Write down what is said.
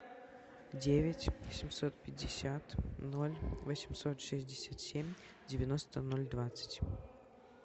девять семьсот пятьдесят ноль восемьсот шестьдесят семь девяносто ноль двадцать